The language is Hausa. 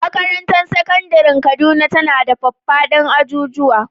Makarantar Sakandaren Kaduna tana da faffaɗan ajujuwa.